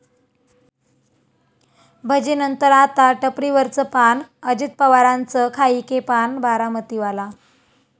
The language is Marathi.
भजीनंतर आता टपरीवरचं पान, अजित पवारांचं 'खाइके पान बारामतीवाला'